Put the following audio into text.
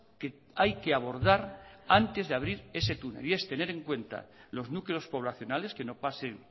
que hay que abordar antes de abrir ese túnel y es tener en cuenta los núcleos poblacionales que no pasen